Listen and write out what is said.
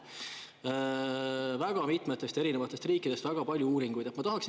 Seal on väga mitme riigi uuringuid, väga palju uuringuid.